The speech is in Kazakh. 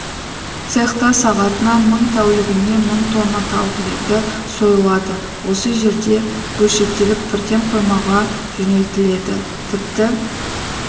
цехта сағатына мың тәулігіне мың тонна тауық еті сойылады осы жерде бөлшектеліп бірден қоймаға жөнелтіледі тіпті